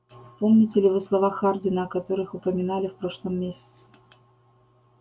помните ли вы слова хардина о которых упоминали в прошлом месяце